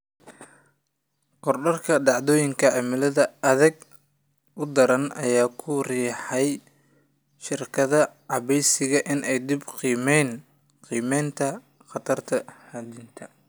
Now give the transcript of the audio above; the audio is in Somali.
Korodhka dhacdooyinka cimilada aadka u daran ayaa ku riixaya shirkadaha caymiska inay dib u qiimeeyaan qiimaynta khatarta hantida.